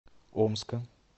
омска